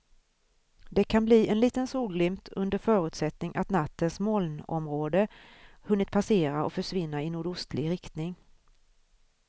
Det kan bli en liten solglimt under förutsättning att nattens molnområde hunnit passera och försvinna i nordostlig riktning.